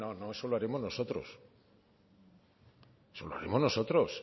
no no no eso lo haremos nosotros eso lo haremos nosotros